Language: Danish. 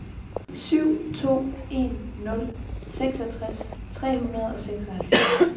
syv to en nul seksogtres tre hundrede og seksoghalvfjerds